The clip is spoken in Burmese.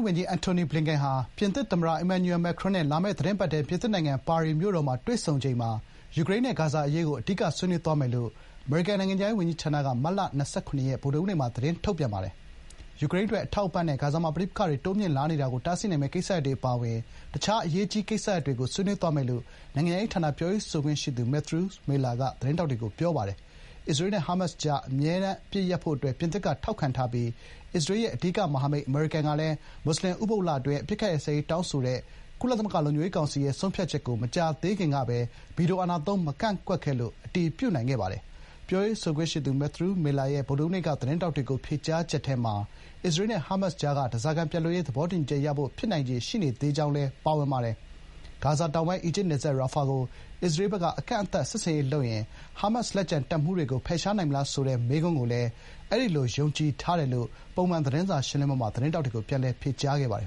ဝန်ကြီး အန်တိုနီ ဘလင်ကန်ဟာ ပြင်သစ်သမ္မတ အီမန်နျူရယ် မက်ကရွန် (Emmanuel Macron) နဲ့ လာမယ့် သီတင်းပတ်ထဲ ပြင်သစ်နိုင်ငံ ပါရီမှာ တွေ့ဆုံချိန် ယူကရိန်းနဲ့ဂါဇာအရေးကို အဓိကဆွေးနွေးသွားမယ်လို့ အမေရိနိုင်ငံခြားရေးဝန်ကြီးဌာနက မတ်လ ၂၇ ရက် ဗုဒ္ဓဟူးနေ့မှာ သတင်းထုတ်ပြန်ပါတယ်။ ယူကရိန်းအတွက် အထောက်အပံ့နဲ့ ဂါဇာမှာပဋိပက္ခတွေ တိုးမြင့်လာနေတာကို တားဆီးနိုင်မယ့်ကိစ္စရပ်တွေအပါအဝင် တခြား အရေးကြီးကိစ္စရပ်တွေကို ဆွေးနွေးသွားမယ်လို့ နိုင်ငံခြားရေးဌာနပြောရေးဆိုခွင့်ရှိသူ မက်သရူးမစ်လာက သတင်းထောက်တွေကို ပြောပါတယ်။ အစ္စရေးနဲ့ဟာမတ်စ်ကြား အမြဲတမ်း အပစ်အခတ်ရပ်စဲရေးအတွက် ပြင်သစ်က ထောက်ခံထားပြီး အစ္စရေးရဲ့ အဓိကမဟာမိတ်အမေရိကန်ကလည်း မွတ်ဆလင် ဥပုသ်လအတွင်း အပစ်အခတ်ရပ်စဲရေးတောင်းဆိုတဲ့ ကုလသမဂ္ဂလုံခြုံရေးကောင်စီရဲ့ ဆုံးဖြတ်ချက်ကို မကြာသေးခင်ကပဲ ဗီတိုအာဏာသုံး မကန့်ကွက်ခဲ့လို့ အတည်ပြုနိုင်ခဲ့ပါတယ်။ ပြောရေးဆိုခွင့်ရှိသူ မက်သရူးမစ်လာရဲ့ ဗုဒ္ဓဟူးနေ့က သတင်းထောက်တွေကို ဖြေကြားချက်ထဲမှာ အစ္စရေးနဲ့ ဟာမတ်စ်ကြားက ဓားစာခံပြန်လွှတ်ရေး သဘောတူညီချက်ရဖို့ ဖြစ်နိုင်ခြေ ရှိနေသေးကြောင်းလည်း ပါဝင်ပါတယ်။ ဂါဇာတောင်ပိုင်း အီဂျစ်နယ်စပ် ရာဖာ (Rafah) ကို အစ္စရေးဘက်က အကန့်အသတ် စစ်ဆင်ရေးတရပ်ဆင်နွှဲပြီး ပါလက်စတိုင်းစစ်သွေးကြွအဖွဲ့ရဲ့ လက်ကျန်တပ်မှူးတွေကို ဖယ်ရှား ရှင်းလင်းနိုင်မလားဆိုတဲ့ မေးခွန်းကိုလည်း “အဲဒီလို ယုံကြည်ထားတယ်” လို့ ပုံမှန်သတင်းစာရှင်းလင်းပွဲမှာ သတင်းထောက်တွေကို ပြန်လည် ဖြေကြားခဲ့ပါတယ်